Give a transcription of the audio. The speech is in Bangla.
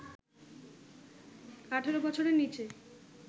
১৮ বছরের নিচে